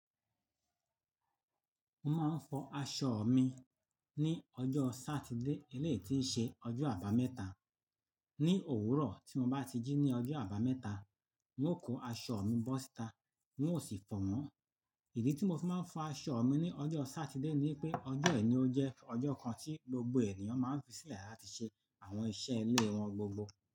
Mo máa ń fọ aṣọ mi ní ọjọ́ Sátidé eleyi ti ń ṣe ọjọ́ Àbámẹ́ta. Ni òwúrọ̀ tí mo bá ti jí ní ọjọ́ Àbámẹ́ta, n ó kó aṣọ mi bọ́ síta, n ó sì fọ̀ won. Ìdí tí mo fi máa ń fọ aṣọ mi ní ọjọ́ Sátidé ni pé ọjọ́ yìí ni ó jẹ́ ọjọ́ kan tí gbogbo ènìyàn máa ń fi sílẹ̀ láti ṣe àwọn iṣẹ́ ilé wọn gbogbo.